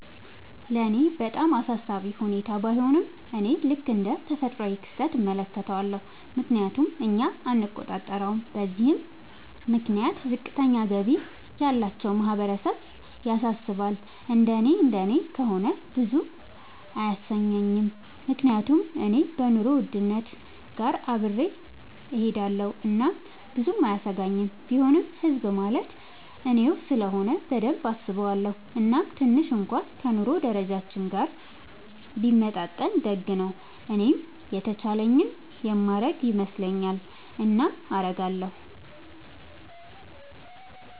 ለኔ በጣም አሳሳቢ ሁኔታ ባይሆንም፤ እኔ ልክ እንደ ተፈጥሯዊ ክስተት እመለከተዋለሁ፤ ምክንያቱም እኛ አንቆጣጠረውም። በዚህም ምክንያት ዝቅተኛ ገቢ ያላቸው ማህበረሰብ ያሳስባል፤ እንደኔ እንደኔ ከሆነ ብዙም አያሰኘኝም፤ ምክንያቱም እኔ ከኑሮ ውድነት ጋር አብሬ እሆዳለኹ እናም ብዙም አያሰጋኝም፤ ቢሆንም ህዝብ ማለት እኔው ስለሆነ በደንብ አስበዋለው፤ እናም ትንሽ እንኩዋን ከ ኑሮ ደረጃችን ጋር ቢመጣጠን ደግ ነው። እኔም የተቻለኝን የማረግ ይመስለኛል። እናም አረጋለው።